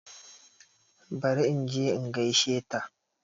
Bari inje in gaishe ta